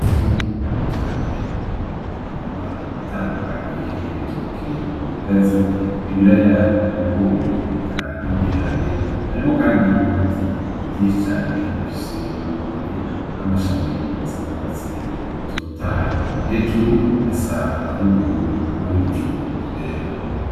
Itungu ririndi cane ririmo imirima itandukanye ibitoki ibigazi ibiraya ibigori eka n'ibiharage harimwo, kandi n'ibiti vyicane bifishe amababi n'amashami agisanurwatsi lutotayi hejuru hasa n'ubururu harimwo n'ibicungku vyera.